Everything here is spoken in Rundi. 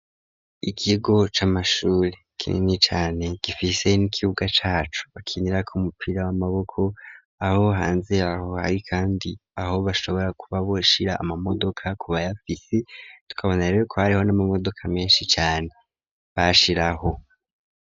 Ikigo c'amashuri kinini cane gifise n'ikibuga caco bakinirako umupira w'amaboko, aho hanze yaho hari kandi aho bashobora kuba boshira amamodoka ku bayafise ,tukabona rero ko hariho n'amamodoka menshi cane bashiraho.